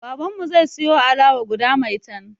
Baban zai siyo alawa guda maitan